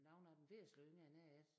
Nogle af dem væsentligt yngre end jeg er